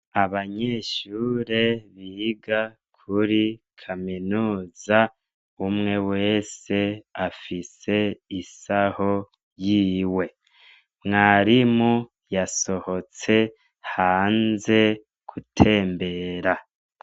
Abanyeshure biga kuri kaminuza, umwe wese afise isaho y'iwe, mwarimu yasohotse hanze gutembera.